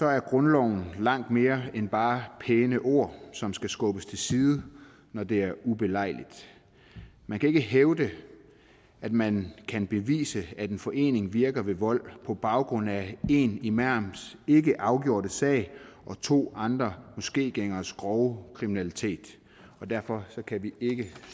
er grundloven langt mere end bare pæne ord som skal skubbes til side når det er ubelejligt man kan ikke hævde at man kan bevise at en forening virker ved vold på baggrund af én imams ikke afgjorte sag og to andre moskégængeres grove kriminalitet derfor kan vi ikke